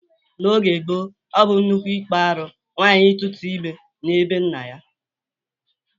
N'oge gboo, ọ bụ nnukwu ikpa arụ nwaanyi ituta ime na be nna ya.